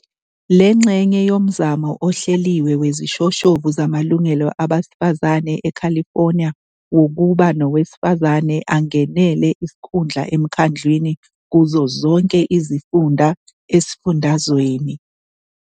Le ngxenye yomzamo ohleliwe wezishoshovu zamalungelo abesifazane e-California wokuba nowesifazane angenele isikhundla eMkhandlwini kuzo zonke izifunda esifundazweni.